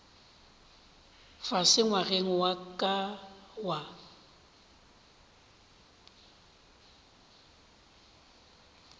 fase ngwageng wa ka wa